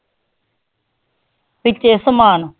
ਵਿੱਚੇ ਸਮਾਨ